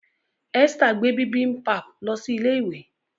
Esther gbé bibimpap ló sì ilé ìwé.